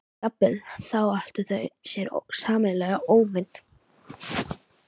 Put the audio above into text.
Jafnvel þá áttu þau sér sameiginlegan óvin.